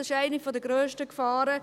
Das ist eine der grössten Gefahren.